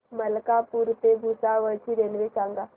मलकापूर ते भुसावळ ची रेल्वे सांगा